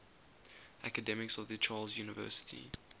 academics of the charles university